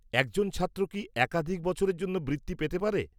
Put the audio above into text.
একজন ছাত্র কি একাধিক বছরের জন্য বৃত্তি পেতে পারে?